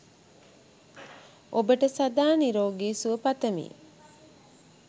ඔබට සදා නිරෝගී සුව පතමි!